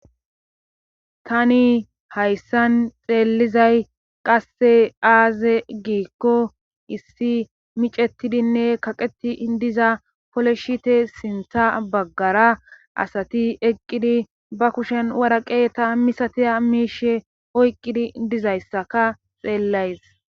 Hani hayssan xeelizay qasse aaze giikko issi micetidinne kaqeti diza pole shite sintha baggara asati eqqidi ba kushen waraqe ta misatiya miishe oyqqidi dizayssaka xeellays.